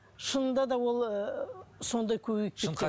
шынында да ол ы сондай көбейіп кеткен